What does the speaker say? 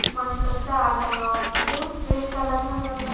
మనుషులొస్తే ఆడతారు కావచ్చు green colour లో ఉంది అంతా.